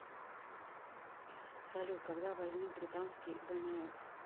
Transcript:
салют когда возник британский вмф